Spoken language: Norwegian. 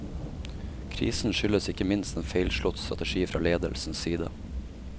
Krisen skyldes ikke minst en feilslått strategi fra ledelsens side.